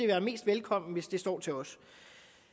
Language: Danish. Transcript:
være mest velkomment hvis det stod til os